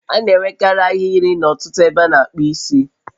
A na-enwekarị ahịrị n'ọtụtụ ebe a na-akpu isi